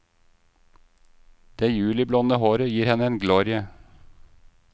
Det juliblonde håret gir henne en glorie.